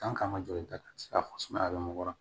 kan ka joli ta fɔ sumaya bɛ mɔ